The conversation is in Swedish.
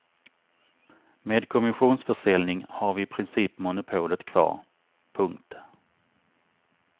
Med kommissionsförsäljning har vi i princip monopolet kvar. punkt